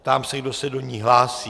Ptám se, kdo se do ní hlásí.